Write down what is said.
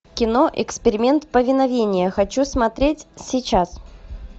кино эксперимент повиновение хочу смотреть сейчас